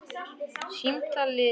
Samtali lýkur.